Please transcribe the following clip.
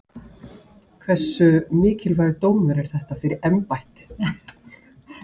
Þorbjörn Þórðarson: Hversu mikilvægur dómur er þetta fyrir embættið?